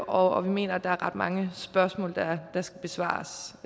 og vi mener at der er ret mange spørgsmål der skal besvares